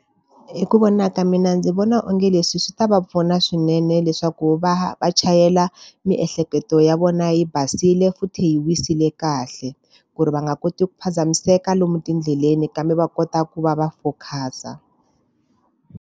Hi ku vona ka mina ndzi vona onge leswi swi ta va pfuna swinene leswaku va va chayela miehleketo ya vona yi basile futhi yi wisile kahle, ku ri va nga koti ku phazamiseka lomu tindleleni kambe va kota ku va va focus-a.